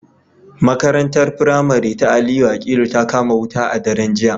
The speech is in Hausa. Makarantar firamare ta Aliyu Akilu ta kama wuta a daren jiya